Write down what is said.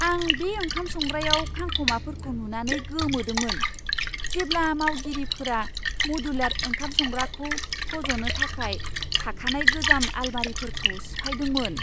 आं बे ओंखाम संग्रायाव खांखमाफोरखौ नुनानै गोमोदोंमोन, जेब्ला मावगिरिफोरा मदुलार ओंखाम संग्राखौ फज'नो थाखाय थाखानाय गोजाम आलमारिफोरखौ सिफायदोंमोन!